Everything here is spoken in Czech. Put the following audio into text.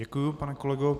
Děkuji, pane kolego.